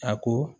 A ko